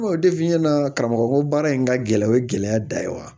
karamɔgɔ ko baara in ka gɛlɛ o ye gɛlɛya da ye wa